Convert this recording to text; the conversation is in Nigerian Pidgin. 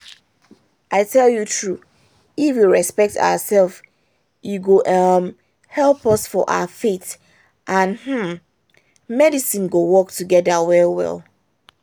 i tell you true if we respect ourself e go um help us for our faith and hmm! medicine go work together well well